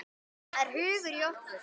Það er hugur í okkur.